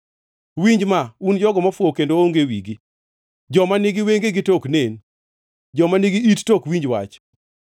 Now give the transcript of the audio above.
Winj ma, un jogo mofuwo kendo onge wigi, joma nigi wengegi to ok nen, joma nigi it to ok winj wach: